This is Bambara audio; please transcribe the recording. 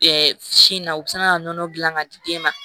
sin na u bɛ sin ka nɔnɔ dilan ka di den ma